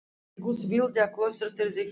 Guð vildi að klaustrið yrði helgað.